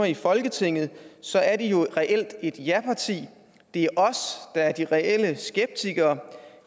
i folketinget så er de jo et reelt ja parti det er os der er de reelle skeptikere